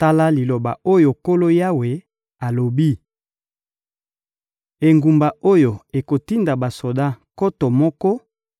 Tala liloba oyo Nkolo Yawe alobi: «Engumba oyo ekotinda basoda nkoto moko